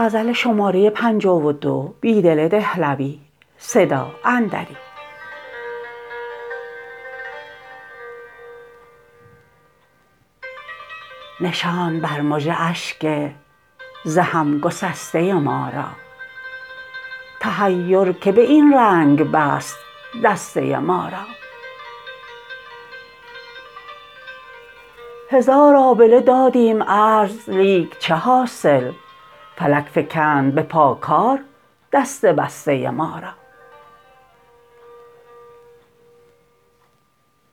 نشاند بر مژه اشک ز هم گسسته ما را تحیر که به این رنگ بست دسته ما را هزار آبله دادیم عرض لیک چه حاصل فلک فکند به پا کار دست بسته ما را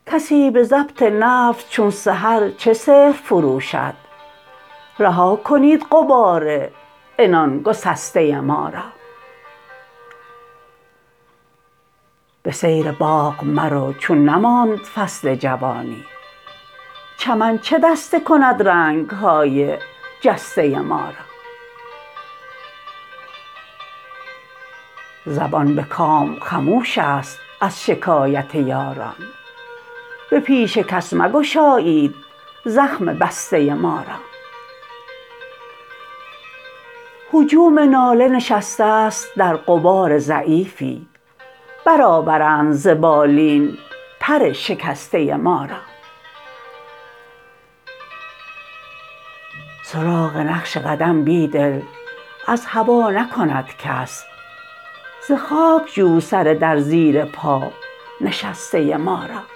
کسی به ضبط نفس چون سحر چه سحر فروشد رها کنید غبار عنان گسسته ما را به سیر باغ مرو چون نماند فصل جوانی چمن چه دسته کند رنگ های جسته مارا زبان به کام خموش است از شکایت یاران به پیش کس مگشایید زخم بسته ما را هجوم ناله نشسته است در غبار ضعیفی برآورند ز بالین پر شکسته ما را سراغ نقش قدم بیدل از هوا نکند کس ز خاک جو سر در زیر پا نشسته ما را